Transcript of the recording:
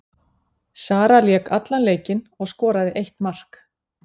Sara lék allan leikinn og skoraði eitt mark.